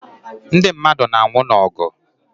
Ndị mmadụ na anwụ n'ogu